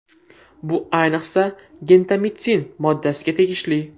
Bu ayniqsa, gentamitsin moddasiga tegishli.